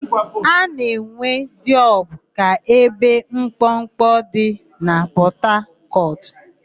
A na-ewe Diobu ka ebe mkpọkpọ dị na Pọtakọtụ